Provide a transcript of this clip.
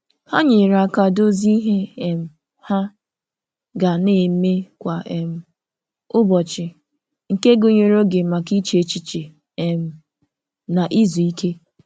Ha nyere aka dozie ihe um ha ga na-eme kwa um ụbọchị nke gụnyere oge maka iche echiche um na izu ike.